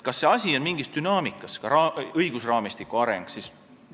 Kas asi on mingis dünaamikas, ka õigusraamistiku arengus?